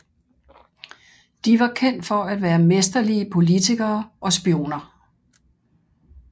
De var kendt for at være mesterlige politikere og spioner